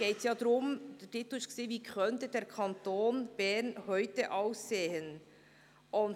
Der Titel lautete: «Wie könnte der Kanton Bern heute aussehen?».